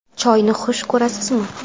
Choyni xush ko‘rasizmi?